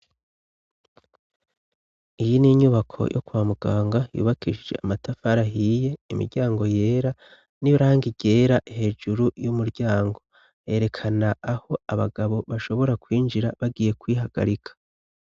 Iyi n'inyubako yo kwa muganga ,yubakisije amatafar'ahiye, imiryango yera n'irangi ryera hejuru y'umuryango , yerekana aho abagabo bashobora kwinjira bagiye kwihagarika.